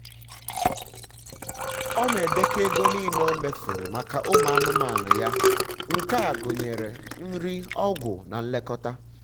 ọ na-edekọ ego nile o mefuru um maka ụmụ anụmanụ ya. nke a gụnyere um nri ọgwụ um na nlekọta